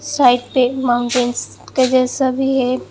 Side पे एक mountains के जैसा भी है।